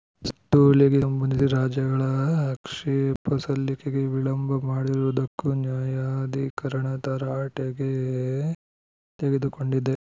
ಸುತ್ತೋಲೆಗೆ ಸಂಬಂಧಿಸಿ ರಾಜ್ಯಗಳ ಆಕ್ಷೇಪ ಸಲ್ಲಿಕೆಗೆ ವಿಳಂಬ ಮಾಡಿರುವುದಕ್ಕೂ ನ್ಯಾಯಾಧಿಕರಣ ತರಾಟೆಗೆ ತೆಗೆದುಕೊಂಡಿದೆ